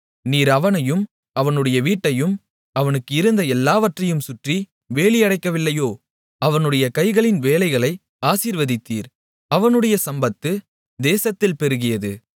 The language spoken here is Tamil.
நீர் அவனையும் அவனுடைய வீட்டையும் அவனுக்கு இருந்த எல்லாவற்றையும் சுற்றி வேலியடைக்கவில்லையோ அவனுடைய கைகளின் வேலைகளை ஆசீர்வதித்தீர் அவனுடைய சம்பத்து தேசத்தில் பெருகியது